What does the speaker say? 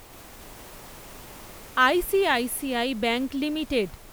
I C I C I bank limited